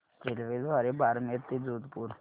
रेल्वेद्वारे बारमेर ते जोधपुर